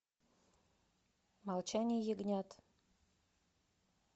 молчание ягнят